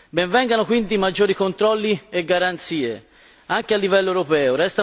ben vengano quindi maggiori controlli e garanzie anche a livello europeo.